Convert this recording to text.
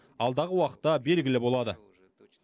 алдағы уақытта белгілі болады